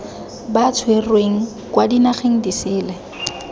ba tshwerweng kwa dinageng disele